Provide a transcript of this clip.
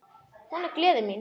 Hún er gleði mín.